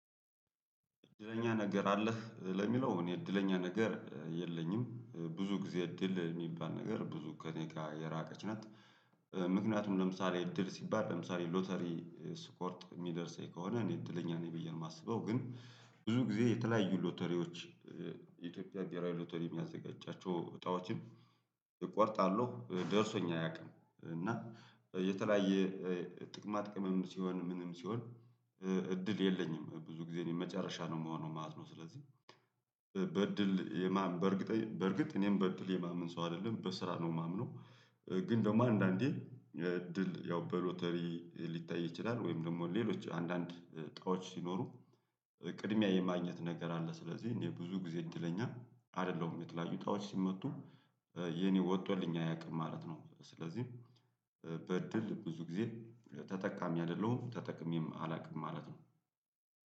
እድለኛ ነገር አለህ ለሚለው እኔ እድለኛ ነገር የለኝም። ብዙ ጊዜ እድል የሚባል ነገር ብዙ ከእኔ ጋር የራቀች ናት። ምክንያቱም ለምሳሌ እድል ሲባል ለምሳሌ ሎተሪ ስቆርጥ የሚደርሰኝ ከሆነ እኔ እድለኛ ነኝ ብዬ ነው የማስበው። ግን ብዙ ጊዜ የተለያዩ ሎተሪዎች ኢትዮጵያ ብሄራዊ ሎተሪ የሚያዘጋጃቸው እጣዎችን እቆርጣለሁ ደርሶኝ አያውቅም እና የተለያየ ጥቅማ ጥቅምም ሲሆን ምንም ሲሆን እድል የለኝም። ብዙ ጊዜ እኔ መጨረሻ ነው የምሆነው ማለት ነው። ስለዚህ በእድል የማንምን በእርግጥ በእርግጥ እኔም በእድል የማምን ሰው አይደለም በስራ ነው የማምነው። ግን ደግሞ አንዳንዴ እድል ያው በሎተሪ ሊታይ ይችላል ወይም ደግሞ ሌሎች አንዳንድ ጣኦች ሲኖሩ ቅድሚያ የማግኘት ነገር አለ ስለዚህ እኔ ብዙ ጊዜ እንድለኛ አይደለሁም የተለያዩ ጣዎች ሲመጡ የኔ ወጥቶልኝ አያውቅም ማለት ነው ስለዚህ በእድል ብዙ ጊዜ ተጠቃሚ አይደለሁም። ተጠቅሜም አላውቅም ማለት ነው።